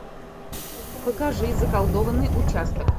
покажи заколдованный участок